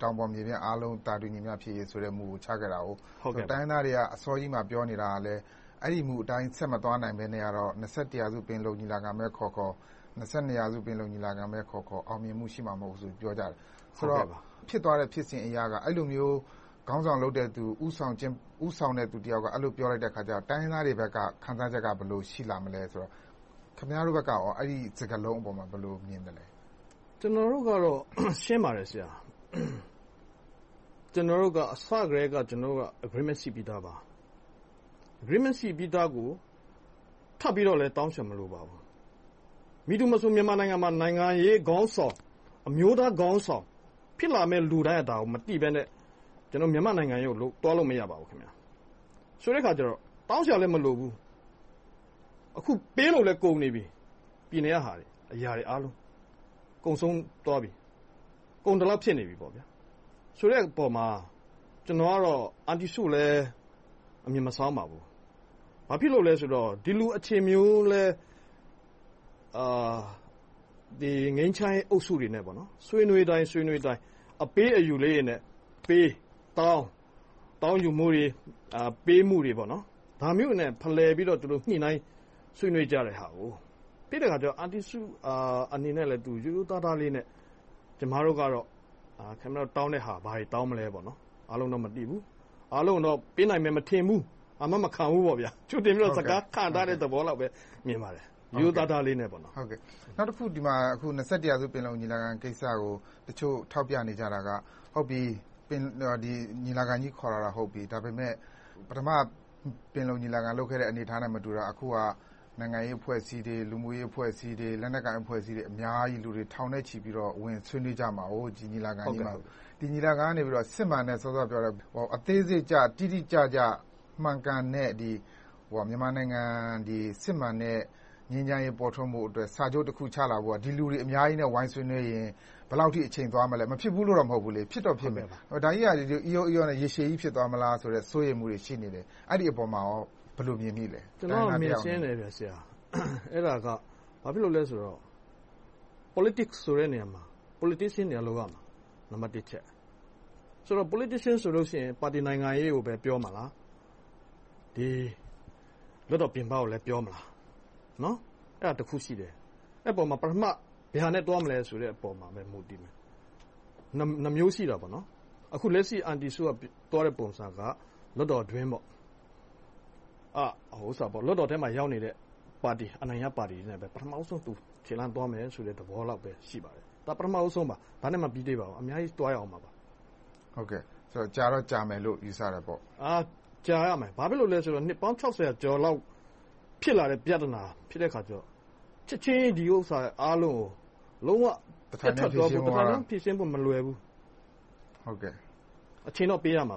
တောင်ပေါ်မြေပြန့်အားလုံး သာတူညီမျှဖြစ်ရေးမူကို ချထားတာကို။ တိုင်းရင်းသားတွေက အစောကြီးမှာ ပြောနေတာကလည်း အဲဒီမူအတိုင်း ဆက်မသွားနိုင်ဘဲနဲ့ ရာစု ပင်လုံညီလာခံပဲခေါ်ခေါ်၊ ရာစု ပင်လုံညီလာခံပဲခေါ်ခေါ် အောင်မြင်မှုရှိမှာ မဟုတ်ဘူးလို့ ပြောကြတယ်။ ဖြစ်သွားတဲ့ဖြစ်စဉ်အရ အဲဒီလိုမျိုး ခေါင်းဆောင်လုပ်တဲ့လူ၊ ဦးဆောင်တဲ့လူတယောက်က အဲဒီလိုမျိုး ပြောလိုက်တဲ့အခါကြတော့ တိုင်းရင်းသားတွေဘက်က ခံစားချက်က ဘယ်လို ရှိလားမလဲ။ ခင်များတို့ဘက်ကရော အဲဒီ စကားလုံးအပေါ် ဘယ်လို မြင်သလဲ။ ကျနော်တို့ကတော့ ရှင်းပါတယ်။ ကျနော်တို့က အစကတည်းက Agreement ရှိပြီသားပါ။ Agreement ရှိပြီသားကို ထပ်ပြီးတော့လည်း တောင်းစရာ မလိုပါဘူး။ မည်သူမဆို မြန်မာနိုင်ငံမှာ နိုင်ငံရေးခေါင်းဆောင်၊ အမျိုးသားခေါင်းဆောင် ဖြစ်လာမယ့်လူတိုင်းက ဒါကို မသိဘဲနဲ့ ကျနော်တို့ မြန်မာနိုင်ငံရေးကို သွားလို့ မရပါဘူး။ ဆိုတဲ့အခါကြတော့ တောင်းစရာလည်း မလိုဘူး။ အခု ပေးလို့လည်း ကုန်နေပြီ။ ပြည်နယ်ကဟာတွေ၊ အရာအားလုံး။ ကုန်ဆုံးသွားပြီ။ ကုန်သလောက် ဖြစ်နေပြီ။ ဆိုတဲ့အပေါ်မှာ ကျနော်ကတော့ အန်တီစုကိုလည်း အမြင်မစောင်းပါဘူး။ ဘာဖြစ်လို့လဲဆိုတော့ ဒီလို အခြေမျိုးလည်း ငြိမ်းချမ်းရေးအုပ်စုတွေနဲ့ ဆွေးနွေးတိုင်း အပေးအယူလေးတွေနဲ့ ပေး၊ တောင်းယူမှုတွေ၊ ပေးမှုတွေနဲ့ ဖလှယ်ပြီးတော့ ညှိနှိုင်းဆွေးနွေးကြတဲ့ဟာကို သိတဲ့အခါကြတော့ အန်တီစုအနေနဲ့ ရိုးရိုးသားသားလေးနဲ့ ကျမတို့ကတော့ ခင်များတို့ တောင်းတဲ့ဟာ၊ ဘာတွေ တောင်းမလဲ။ အားလုံးတော့ မသိဘူး။ အားလုံးတော့ ပေးနိုင်မယ် မထင်ဘူး။ အာမမခံဘူးပေါ့။ ကြိုတင်ပြီးတော့ စကား ကာထားတဲ့သဘောလိုပဲ မြင်ပါတယ်။ ရိုးရိုးသားသားလေးနဲ့။ နောက်တခု ရာစု ပင်လုံညီလာခံကိစ္စကို တချို့ထောက်ပြနေကြတာက ညီလာခံကြီး ခေါ်တာတော့ ဟုတ်ပြီ။ ဒါပေမဲ့ ပထမပင်လုံညီလာခံ လုပ်ခဲ့တဲ့ အနေအထားနဲ့မတူတာက အခုဟာ နိုင်ငံရေးအဖွဲ့အစည်းတွေ၊ လူမှုရေးအဖွဲ့အစည်းတွေ၊ လက်နက်ကိုင် အဖွဲ့အစည်းတွေ အများကြီး လူတွေ ထောင်နဲ့ချီ ဝင်ဆွေးနွေးကြမှာ။ ဒီညီလာခံကြီးကနေ စစ်မှန်တဲ့ အသေးစိတ်ကျ၊ တိတိကျကျ မှန်ကန်တဲ့ မြန်မာနိုင်ငံ စစ်မှန်တဲ့ ငြိမ်းချမ်းရေး ပေါ်ထွန်းဖို့အတွက် စာချုပ်တခု ချလာဖို့ ဒီလူတွေ အများကြီးနဲ့ ဝိုင်းဆွေးနွေးရင် ဘယ်လောက်အထိ အချိန်သွားမလဲ။ မဖြစ်ဘူးလို့တော့ မဟုတ်ဘူး။ ဖြစ်တော့ဖြစ်မယ်။ ဒါကြီးက အီရောအီရောနဲ့ ရေရှည်ကြီး ဖြစ်သွားမလားဆိုတဲ့ စိုးရိမ်မှုတွေ ရှိနေတယ်။ အဲဒီအပေါ် ဘယ်လို မြင်မိသလဲ။ ကျနော် အမြင်ရှင်းတယ်။ ဘာဖြစ်လို့လဲဆိုတော့ Politics ဆိုတဲ့ နေရာမှာ Politicians တွေက လုပ်ရမှာ။ နံပတ်တစ်အချက်။ Politicians ဆိုရင် ပါတီနိုင်ငံရေးကိုပဲ ပြောမလား။ လွှတ်တော်ပြင်ပကို ပြောမလား။ အဲဒါ တစ်ခုရှိတယ်။ အဲဒီအပေါ် ပထမ ဘယ်ဟာနဲ့ သွားမလဲဆိုတဲ့အပေါ် မူတည်တယ်။ နှစ်မျိုးရှိတယ်။ လက်ရှိ အန်တီစုက သွားတဲ့ပုံစံက လွှတ်တော်အတွင်း။ လွှတ်တော်ထဲမှာရောက်နေတဲ့ ပါတီနဲ့ ပထမဦးဆုံးသွားမယ်ဆိုတဲ့ ခြေလှမ်းသဘောလောက် ရှိပါတယ်။ ဒါ ပထမဦးဆုံးပါ။ ဒါနဲ့ မပြီးသေးပါဘူး။ အများကြီး သွားရအုံးမှာပါ။ ကြာတော့ ကြာမယ်လို့ ယူဆတာပေါ့။ ကြာရမယ်။ ဘာဖြစ်လို့လဲဆိုတော့ နှစ်ပေါင်း ကျော်လောက် ဖြစ်လာတဲ့ ပြဿနာ ဖြစ်တဲ့အခါကြတော့ ချက်ချင်း ဒီဥစ္စာအားလုံးကို လုံးဝပျက်ထွက်၊ တထိုင်ထဲဖြေရှင်းဖို့ မလွယ်ဘူး။ အချိန်တော့ ပေးရမှာပါ